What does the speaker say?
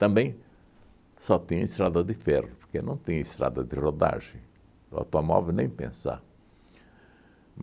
Também só tinha estrada de ferro, porque não tinha estrada de rodagem, do automóvel nem pensar.